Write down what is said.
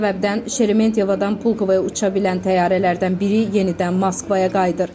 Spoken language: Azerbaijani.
Bu səbəbdən Şeremetiyevadan Pulkovaya uça bilən təyyarələrdən biri yenidən Moskvaya qayıdır.